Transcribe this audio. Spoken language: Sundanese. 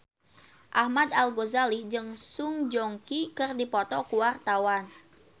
Ahmad Al-Ghazali jeung Song Joong Ki keur dipoto ku wartawan